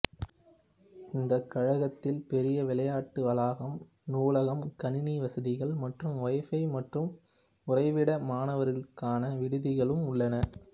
இந்த கழகத்தில் பெரிய விளையாட்டு வளாகம் நூலகம் கணினி வசதிகள் மற்றும் ஒய்ஃபை மற்றும் உறைவிட மாணவர்களுக்கான விடுதிகளும் உள்ளன